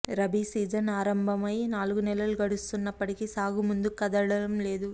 rabi season ఆరంభమై నాలుగు నెలలు గడుస్తున్న ప్పటికీ సాగు ముందుకు కదలడంలేదు